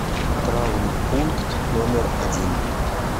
травмпункт номер один